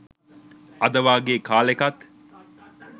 අද වගේ කාලෙකත්